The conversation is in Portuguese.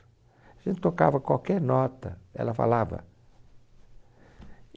A gente tocava qualquer nota, ela falava.